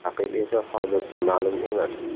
Raqib esa hozircha ma’lum emas.